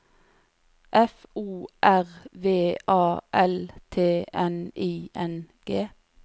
F O R V A L T N I N G